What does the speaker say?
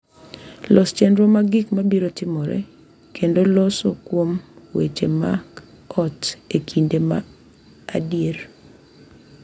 Los chenro mar gik mabiro timore kendo loso kuom weche mag ot e kinde ma adier.